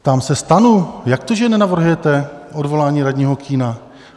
Ptám se STAN: Jak to, že nenavrhujete odvolání radního Kühna?